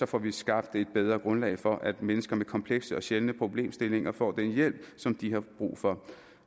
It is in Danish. får vi skabt et bedre grundlag for at mennesker med komplekse og sjældne problemstillinger får den hjælp som de har brug for